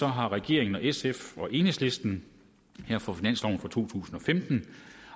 har regeringen sf og enhedslisten for finansloven for to tusind og femten